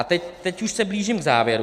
A teď už se blížím k závěru.